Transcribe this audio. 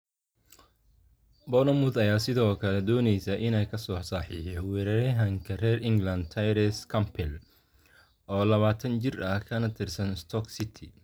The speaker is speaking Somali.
Bournemouth ayaa sidoo kale dooneysa inay lasoo saxiixato weeraryahanka reer England Tyrese Campbell, oo labatan jir ah, kana tirsan Stoke City.